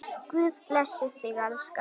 Guð blessi þig, elskan.